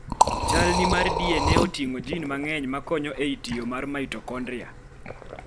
chalni mar DNA oting'o jin mang'eny makonyo ei tiyo mar mitochondria